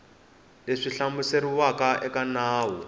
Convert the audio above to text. leswi swi hlamuseriwaka eka nawu